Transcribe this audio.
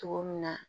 Cogo min na